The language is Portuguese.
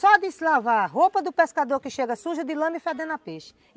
Só deslavar a roupa do pescador que chega suja de lama e fedendo a peixe.